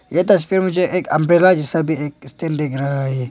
ये तस्वीर मुझे एक अंब्रेला जैसा भी एक स्टैंड दिख रहा है।